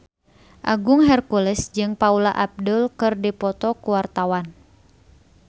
Agung Hercules jeung Paula Abdul keur dipoto ku wartawan